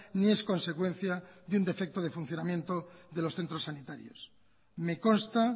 ni es consecuencia de un defecto de funcionamiento de los centros sanitarios me consta